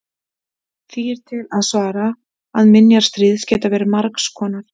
Því er til að svara að minjar stríðs geta verið margs konar.